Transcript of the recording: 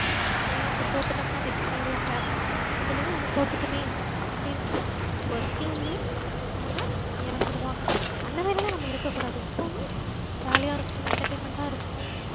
விளையாண்டு தோத்துடோம்னா wex ஆய்டுவாங்க அதுலயே நம்ம தோத்துடோமே அப்டின்ற ஒரு feel லயே அவங்க எறந்துருவாங்க அந்தமாறிலா நம்ம இருக்கக்கூடாது எப்போவுமே jolly யாஇருக்கணும் entertainment ஆ இருக்கணும்